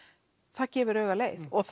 það gefur auga leið og